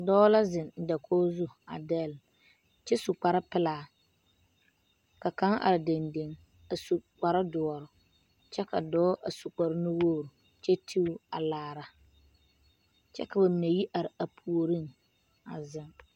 Dɔɔ la zeŋ dakogi zu a dɛlle kyɛ su kparepelaa ka kaŋ are dendeŋ a su kparedoɔre kyɛ ka dɔɔ a su kparenuwogri kyɛ ti o a laara kyɛ ka ba mine yɛ are a puoriŋ a zeŋ.